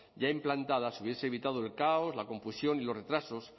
ya implantada se hubiese evitado el caos la confusión y los retrasos